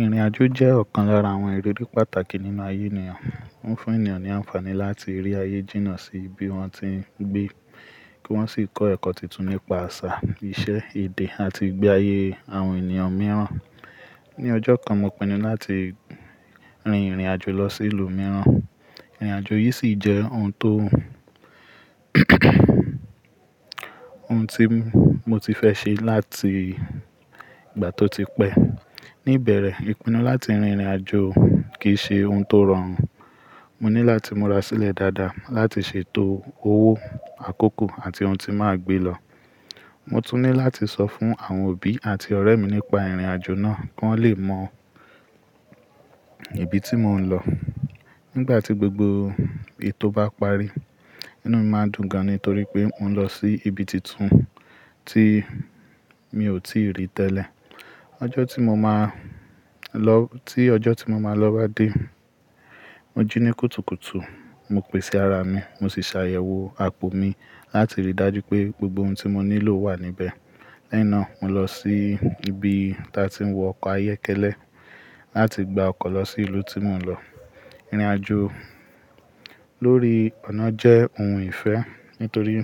Ìrìnàjò jẹ́ ọ̀kan lára àwọn ìrírí pàtàkì nínú ayé ènìyàn. Ó ń fún ènìyàn ní àǹfààní láti rí ayé jìnnà sí ibi wón ti ń gbé, kí wọ́n sì kọ́ ẹ̀kọ́ tuntun nípa àṣà, ìṣe, èdè àti ìgbé ayé àwọn ènìyàn mìíràn. Ni ọjọ́ kan, mo pinnu láti rin ìrìnàjò lọ sí ìlú mìíràn. Ìrìnàjò yìí sì jẹ́ ohun tó ohun tí mo ti fẹ́ ṣe láti ìgbà tó ti pẹ́. Ni ìbẹ̀rẹ̀, ìpinnu láti rin ìrìnàjò kì í ṣe ohun tó rọrùn. Mo ní láti múra sílẹ̀ dáadáa láti ṣètò owó àkókò àti ohun tí màá gbé lọ. Mo tún ní láti sọ fún àwọn òbí àti ọ̀rẹ́ mi nípa ìrìnàjò náà kí wọ́n lè mọ ibi tí mò ń lọ. Nígbà tí gbogbo ètò bá parí, inú mi máa dùn gan-an nítorí pé mò ń lọ sí ibi tuntun tí mi ò tíì rí tẹ́lẹ̀. Ọjọ́ tí mo máa lọ, tí ọjọ́ tí mo máa lọ bá dé, mo jí ní kùtùkùtù, mo pèsé ara mi, mo sì ṣàyẹ̀wò àpò mi láti rí i dájú pé gbogbo ohun tí mo nílò wà níbẹ̀. Lẹ́yìn náà, mo lọ sí ibi tí a ti ń wọ ọkọ̀ ayokẹ́lẹ́ láti gba ọkọ̀ lọ sí ìlú tí mò ń lọ. Ìrìnàjò lórí ọ̀nà jẹ́ ohun ìfẹ́ nítorí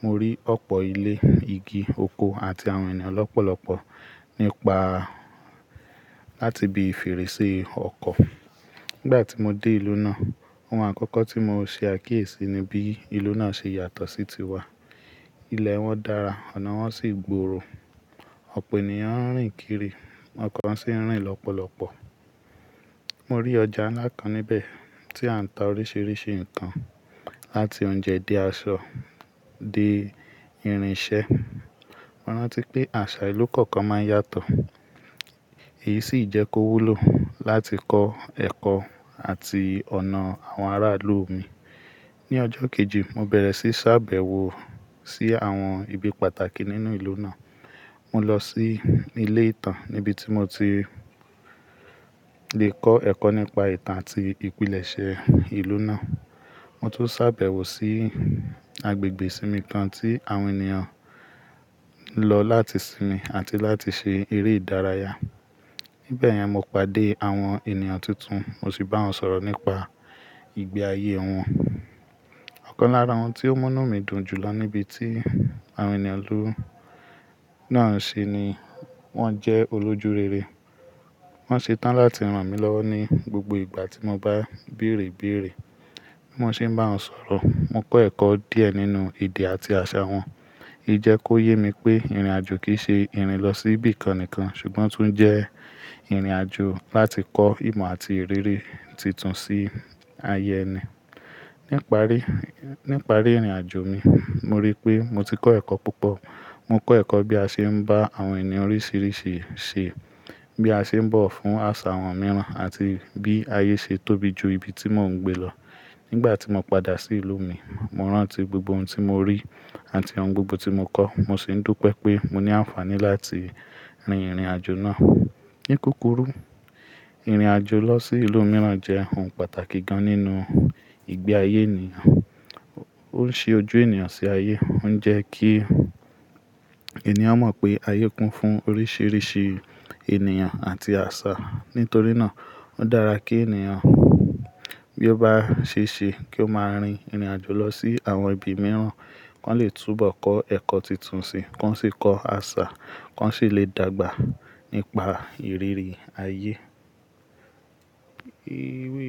mo rí ọ̀pọ̀ ilé, igi, oko àti àwọn ènìyàn lọ́pọ̀lọpọ̀ nípa láti ibi fèrèsé ọkọ̀. Nígbà tí mo dé ìlú náà, ohun àkọ́kọ́ tí mo ṣe àkíyèsí ni bí ìlú náà ṣe yàtọ̀ sí tiwa. Ilẹ̀ wọn dára, ọ̀nà wọn sì gbòòrò. Ọ̀pọ̀ ènìyàn ń rìn kiri, ọkọ̀ ń sì ń rìn lọ́pọ̀lọpọ̀. Mo rí ọjà ńlá kan níbẹ̀ tí a ń ta oríṣìíríṣìí nǹkan láti oúnjẹ dé aṣọ dé irin iṣẹ́. Mo rántí pé àṣà ìlú kọ̀ọ̀kan máa ń yàtọ̀. Èyí sì jẹ́ kó wúlò láti kọ́ ẹ̀kọ́ àti ọ̀nà àwọn ará ìlú mi. Ni ọjọ́ kejì, mo bẹ̀rẹ̀ sí ṣàbẹ̀wò sí àwọn ibi pàtàkì nínú ìlú náà. Mo lọ sí ilé ìtàn níbi tí mo ti le kọ́ ẹ̀kọ́ nípa ìtàn àti ìpìlẹ̀ṣẹ́ ìlú náà. Mo tún ṣàbẹ̀wò sí agbègbè ìsinmi kan tí àwọn ènìyàn ń lọ láti sinmi àti láti ṣe eré ìdárayá. Níbẹ̀ yẹn, mo pàdé àwọn ènìyàn tuntun, mo sì bá wọn sọ̀rọ̀ nípa ìgbé ayé wọn. Ọ̀kan lára ohun tí ó múnu mí dùn jùlọ níbi tí àwọn ènìyàn ìlú náà ń ṣe ni wọ́n jẹ́ olójú rere. Wọ́n ṣe tán láti rán mi lọ́wọ́ ní gbogbo ìgbà tí mo bá bèèrè ibèèrè. Bi mo se ń bá wọn sọ̀rọ̀, mo kọ́ ẹ̀kọ́ díẹ̀ nínú èdè àti àṣà wọn. Ey jẹ́ kó yé mi pé ìrìnàjò kì í ṣe ìrìn lọ sí ibi kan nìkan, ṣùgbọ́n o tún jẹ́ ìrìnàjò láti kọ́ ìmọ̀ àti ìrírí tuntun sí ayẹ ẹni. Níparí, níparí ìrìnàjò mi, mo rí pé mo ti kọ́ ẹ̀kọ́ púpọ̀. Mo kọ́ ẹ̀kọ́ bí a ṣe ń bá àwọn ènìyàn oríṣìíríṣìí ṣe, bí a ṣe ń bọ̀wo fún àṣà àwọn mìíràn àti bí ayé ṣe tóbi ju ibi tí mò ń gbé lọ. Nígbà tí mo padà sí ìlú mi, mo rántí gbogbo ohun tí mo rí àti ohun gbogbo tí mo kọ́. Mo sì ń dúpé pé mo ní àǹfààní láti rin ìrìnàjò náà. Ní kukuru, ìrìnàjò lọ sí ìlú mìíràn jẹ́ ohun pàtàkì gan nínú ìgbé ayé ènìyàn. Ó ń ṣi ojú ènìyàn sí ayé, ó ń jẹ́ kí ènìyàn mọ̀ pé ayé kún fún oríṣìíríṣìí ènìyàn àti àṣà. Nítorí náà, ó dára kí ènìyàn bí ó bá ṣe ṣe kí ó máa rin ìrìnàjò lọ sí àwọn ibi mìíràn, kí wọ́n lè túbọ̀ kọ́ ẹ̀kọ́ tuntun sí, kí wọ́n sì kọ́ àṣà, kí wọ́n sì lè dàgbà nípa ìrírí ayé. Ewé.